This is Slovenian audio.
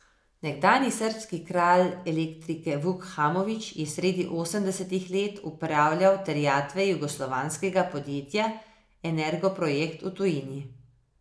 Nekdanji srbski kralj elektrike Vuk Hamović je sredi osemdesetih let upravljal terjatve jugoslovanskega podjetja Energoprojekt v tujini.